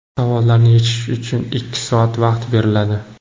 Savollarni yechish uchun ikki soat vaqt beriladi.